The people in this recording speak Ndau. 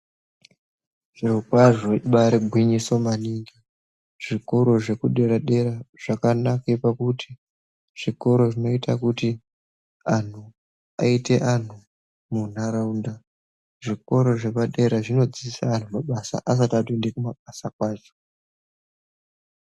Zviro kwazvo ibari gwinyiso maningi zvikoro zvekudera dera zvakanake pakuti zvikoro zvinoita kuti anhu aite anhu muntaraunda zvikoro zvepaderadera zvinodzidzise anhu mabasa asati atoende kumabasa kwacho.